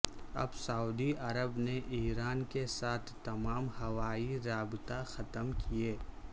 اب Saudi Arab نے Iran کے ساتھ تمام ہوائی رابطہ ختم کئے